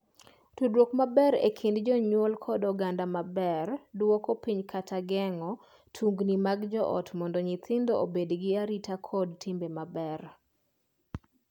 Tudruok maber e kind jonyuol kod oganda ber duoko piny kata geng’o tungni mag joot mondo nyithindo obedgi arita kod timbe maber.